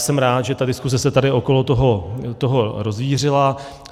Jsem rád, že ta diskuze se tady okolo toho rozvířila.